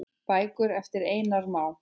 Bækur eftir Einar Má.